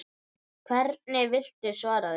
Hvernig viltu svara því?